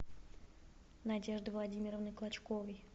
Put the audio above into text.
надежды владимировны клочковой